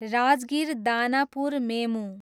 Rajgir, Danapur मेमु